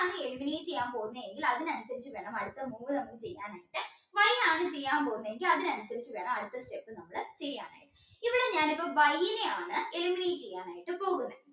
ആണ് eliminate ചെയ്യാൻ പോകുന്നതെങ്കിൽ അതിനനുസരിച്ച് വേണം അടുത്ത move നമുക്ക് ചെയ്യാൻ ആയിട്ട് Y ആണ് ചെയ്യാൻ പോകുന്നതെങ്കിൽ അതിനനുസരിച്ച് വേണം നമ്മൾ അടുത്ത step ചെയ്യാനായിട്ട് ഇവിടെ ഞാനിപ്പോൾ Y നെയാണ് eliminate ചെയ്യാൻ വേണ്ടിയിട്ട് പോകുന്നത്